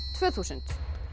tvö þúsund